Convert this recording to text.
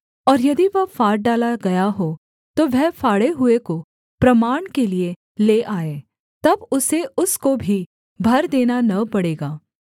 और यदि वह फाड़ डाला गया हो तो वह फाड़े हुए को प्रमाण के लिये ले आए तब उसे उसको भी भर देना न पड़ेगा